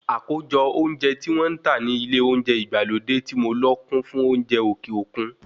Àkójọ oúnjẹ tí wọ́n ń tà ni ilé olóúnjẹ ìgbàlódé tí mo lọ kún fún oúnjẹ òkè òkun